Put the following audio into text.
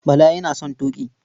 Bala yana son tuƙi.